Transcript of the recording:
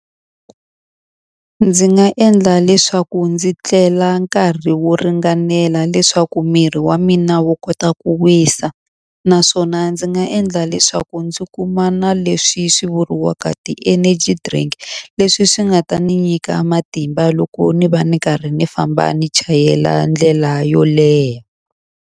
Ndzi nga endla leswaku ndzi tlela nkarhi wo ringanela leswaku miri wa mina wo kota ku wisa. Naswona ndzi nga endla leswaku ndzi kumana leswi swi vuriwaka ti-energy drink, leswi swi nga ta ni nyika matimba loko ni va ni karhi ni famba ni chayela ndlela yo leha.